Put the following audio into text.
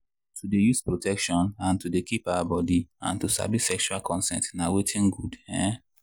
to dey use protection and to dey keep our body and to sabi sexual consent na watin good. um